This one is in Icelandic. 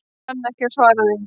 Ekki kann ég svar við því.